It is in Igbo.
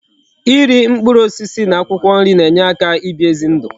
Iri mkpụrụ osisi na akwụkwọ nri na enye aka ibi ezi ndu